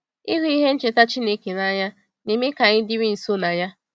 Ịhụ ihe ncheta Chineke n’anya na-eme ka anyị dịrị nso na ya.